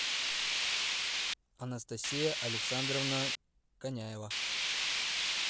анастасия александровна коняева